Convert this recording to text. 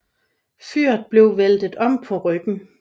Flyet blev væltet om på ryggen